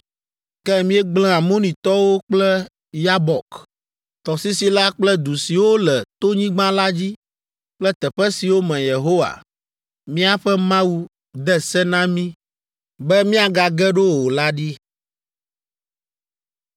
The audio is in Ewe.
Ke míegblẽ Amonitɔwo kple Yabok tɔsisi la kple du siwo le tonyigba la dzi kple teƒe siwo me Yehowa, míaƒe Mawu, de se na mí be míagage ɖo o la ɖi.